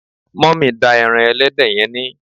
mummy da eran ẹlẹdẹ yen ni